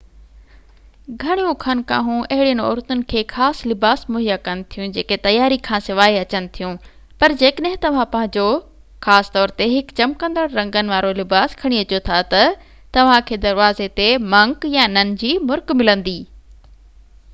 گهڻيون خانقاهون اهڙين عورتن کي خاص لباس مهيا ڪن ٿيون جيڪي تياري کانسواءِ اچن ٿيون پر جيڪڏهن توهان پنهنجو خاص طور تي هڪ چمڪندڙ رنگن وارو لباس کڻي اچو ٿا تہ توهان کي دروازي تي منڪ يا نن جي مرڪ ملندي